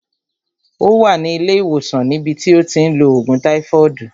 Ó wà ní ilé ìwòsàn ní bi tí ó ti ń lo ògùn táífọọdu